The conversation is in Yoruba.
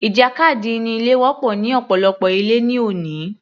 Ìjàkadì inú ilé wọ́pọ̀ ní ọ̀pọ̀lọpọ̀ ilé ní òní